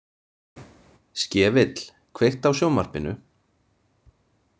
Skefill, kveiktu á sjónvarpinu.